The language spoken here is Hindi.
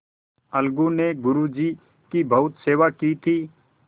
अलगू ने गुरु जी की बहुत सेवा की थी